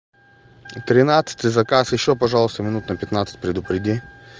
и тринадцатый заказ ещё пожалуйста минут на пятнадцать предупреди